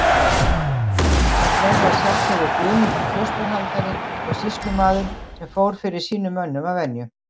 Það gerði að sjálfsögðu Guðmundur klausturhaldari og sýslumaður sem fór fyrir sínum mönnum að venju.